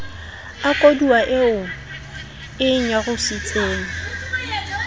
a koduwa eo e nyarositseng